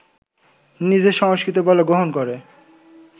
নিজের সংস্কৃতি বলে গ্রহণ করে